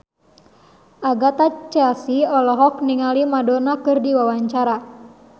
Agatha Chelsea olohok ningali Maradona keur diwawancara